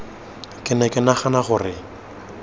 ke ne ke nagana gore